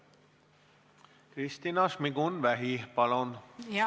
Kristina Šmigun-Vähi, palun!